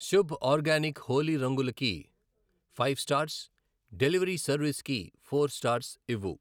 Shubh organic Holi రంగులు కి five stars , delivery service కి ఫోర్ స్టార్స్ ఇవ్వు.